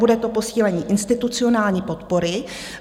Bude to posílení institucionální podpory.